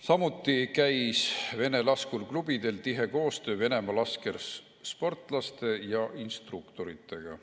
Samuti käis vene laskurklubidel tihe koostöö Venemaa laskesportlaste ja ‑instruktoritega.